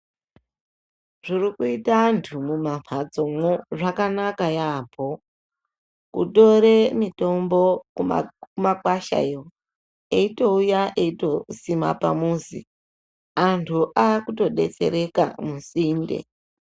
Zvirikuita antu mumambatsomwo zvakanaka yaamho kutore mitombo kumakwasha iyo eitouya eitosime pamuzi anhu akutobetsereka musinde .